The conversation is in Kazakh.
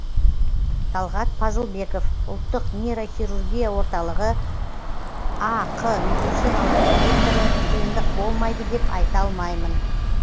талғат пазылбеков ұлттық нейрохирургия орталығы ақ медициналық директоры қиындық болмайды деп айта алмаймын